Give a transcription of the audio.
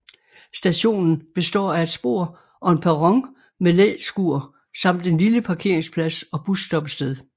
Stationen består af et spor og en perron med læskur samt en lille parkeringsplads og busstoppested